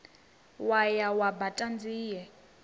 wo ya wa baṱa nzie